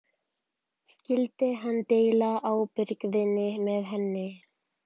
Skyldi hann deila ábyrgðinni með henni?